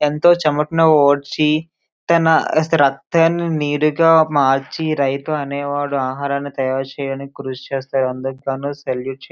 ఎంతో చెమటను ఓడ్చి తన రక్తాన్ని నీరుగా మార్చి రైతు అనేవాడు ఆహారంని తయారు చేయడనికి కృషి చేస్తాడు అందుకు గాను సెల్యూట్ --